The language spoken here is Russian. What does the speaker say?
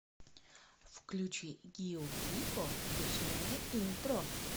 включи гио пику лесное интро